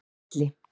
Elli